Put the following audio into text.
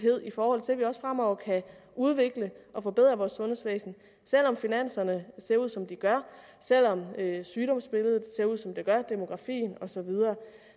i forhold til at vi også fremover kan udvikle og forbedre vores sundhedsvæsen selv om finanserne ser ud som de gør selv om sygdomsbilledet ser ud som det gør demografien og så videre